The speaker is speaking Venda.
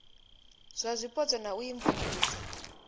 zwa zwipotso na u imvumvusa